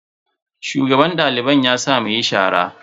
Shugaban daliban ya sa mu yin shara jiya.